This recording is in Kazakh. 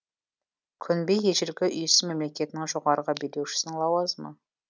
күнби ежелгі үйсін мемлекетінің жоғарғы билеушісінің лауазымы